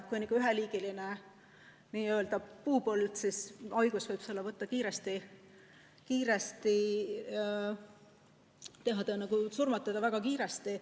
Kui on üheliigiline n‑ö puupõld, siis haigus võib selle surmata kiiresti.